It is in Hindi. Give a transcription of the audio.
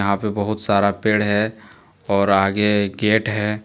यहां पे बहुत सारा पेड़ है और आगे गेट है।